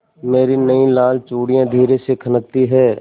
मेरी नयी लाल चूड़ियाँ धीरे से खनकती हैं